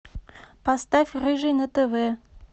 поставь рыжий на тв